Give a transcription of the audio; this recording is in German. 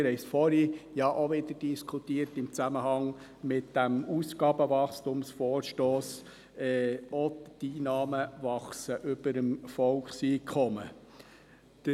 Wir haben vorher im Zusammenhang mit dem Ausgabenwachstumsvorstoss darüber diskutiert, ob die Einnahmen über dem Volkseinkommen wachsen.